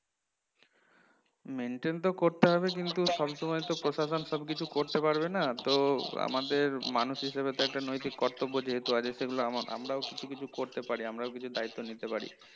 Maintain তো করতে হবে কিন্তু সব সময়তো প্রশাসন সবকিছু করতে পারবে না তো আমাদের মানুষ হিসেবে তো একটা নৈতিক কর্তব্য যেহেতু আছে সেগুলো আমাআমরাও কিছু কিছু করতে পারি, আমরাও কিছু দায়িত্ব নিতে পারি